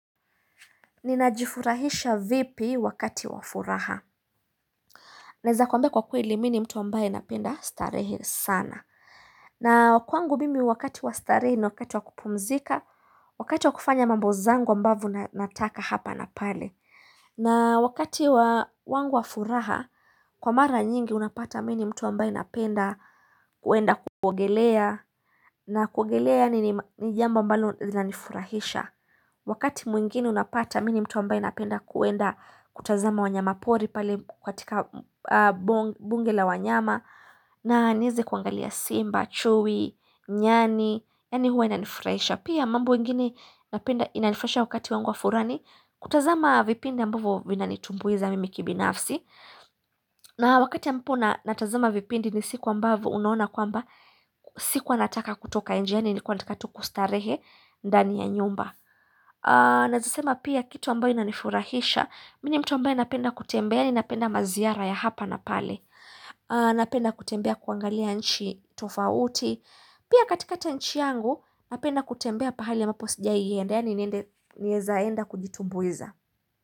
Ninajifurahisha vipi wakati wa furaha naeza kwambai kwa kweli mini mtu ambaye napenda starehe sana na kwangu mimi wakati wa starehe ni wakati wa kupumzika wakati wa kufanya mambo zangu ambavo nataka hapa na pale na wakati wa wangu wa furaha kwa mara nyingi unapata mini mtu ambaye napenda kuenda kuogelea na kuogelea ni jambo ambalo nifurahisha wakati mwingine unapata mini mtu ambae napenda kuenda kutazama wanyama pori pale katika bunge la wanyama na nieze kuangalia simba, chui, nyani ya ni huwa inanifurahisha pia mambo wengine inanifurahisha wakati wangu wa furani kutazama vipindi ambavu vinanitumbuiza mimi kibinafsi na wakati amapo natazama vipindi ni siku ambavo unaona kwamba Sikua nataka kutoka enjani nilkua nataka tu kustarehe ndani ya nyumba Nazisema pia kitu ambayo inanifurahisha Mini mtu ambayo napenda kutembea napenda maziyara ya hapa na pale Napenda kutembea kuangalia nchi tofauti Pia katikakati ya nchi yangu Napenda kutembea pahali ambapo sijaienda yani niende kujitubuiza.